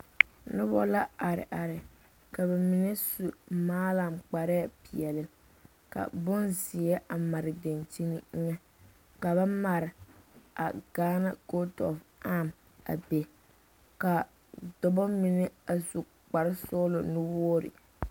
Noba la are are ka bamine su maalaŋ kparre peɛle ka bonziɛ a mare dakyini eŋa ka ba pare a Gaana coach of arm a be ka dɔɔba mine a su kpare sɔglɔ nu wogre.